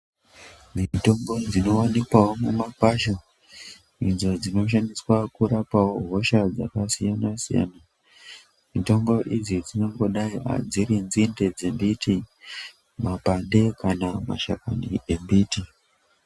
Mitombo dzinoonekwawo mumakwasha idzo dzinoshandiswa kurapawo hosha dzakasiyasiyana. Mitombo idzi dzinongodai dziri nzinde dzembiti makwande kana mashakani embiti.